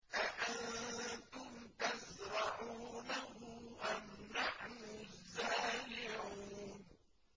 أَأَنتُمْ تَزْرَعُونَهُ أَمْ نَحْنُ الزَّارِعُونَ